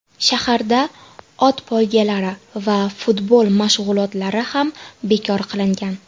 Shaharda ot poygalari va futbol mashg‘ulotlari ham bekor qilingan.